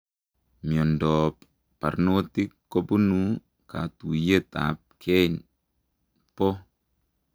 Miondoop parnotik kopunuu katuiyeet ap kei pooo